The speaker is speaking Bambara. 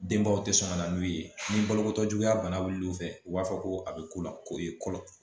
Denbaw tɛ sɔn ka na n'u ye ni balokotɔ juguya bana b'i fɛ u b'a fɔ ko a bɛ ko la ko ye fɔlɔ